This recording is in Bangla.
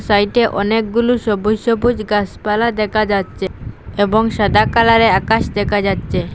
সাইটে অনেকগুলো সবুজ সবুজ গাসপালা দেখা যাচ্ছে এবং সাদা কালারের আকাশ দেখা যাচ্ছে।